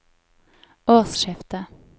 årsskiftet